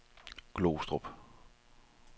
Glostrup